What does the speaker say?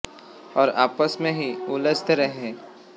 और आपस में ही उलझते रहे हैं